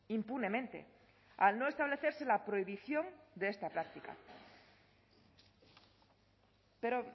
impunemente al no establecerse la prohibición de esta práctica pero